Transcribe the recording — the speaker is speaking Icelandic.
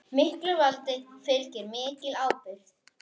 Miklu valdi fylgir mikil ábyrgð.